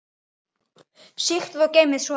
Sigtið og geymið soðið.